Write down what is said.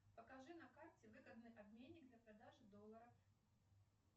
покажи на карте выгодный обменник для продажи долларов